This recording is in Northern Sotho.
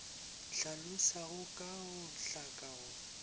hlalosago ka go hlaka go